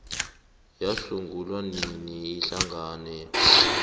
yasungulwa nini ihlangano